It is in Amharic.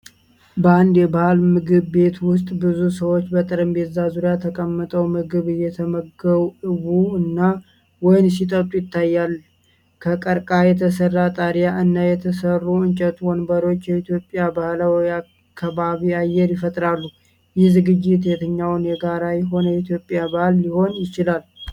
በአንድ የባህል ምግብ ቤት ውስጥ፣ ብዙ ሰዎች በጠረጴዛዎች ዙሪያ ተቀምጠው ምግብ እየበሉ እና ወይን ሲጠጡ ይታያል። ከቀርከሃ የተሠራ ጣሪያ እና የተሰሩ እንጨት ወንበሮች የኢትዮጵያ ባህላዊ ከባቢ አየር ይፈጥራሉ። ይህ ዝግጅት የትኛው የጋራ የሆነ የኢትዮጵያ በዓል ሊሆን ይችላል?